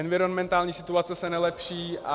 Environmentální situace se nelepší.